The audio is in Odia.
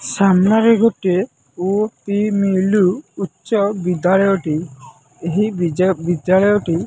ସାମ୍ନାରେ ଗୋଟେ ଓ ପି ମି ଲୁ ଉଚ୍ଚ ବିଦ୍ୟାଳୟ ଟି ଏହି ବିଦ୍ୟାଳୟଟି।